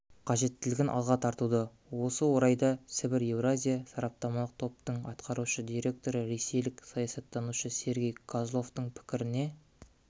қажеттілігін алға тартуда осы орайда сібір-еуразия сараптамалық топтың атқарушы директоры ресейлік саясаттанушы сергей козловтың пікіріне